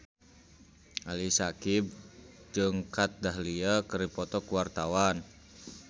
Ali Syakieb jeung Kat Dahlia keur dipoto ku wartawan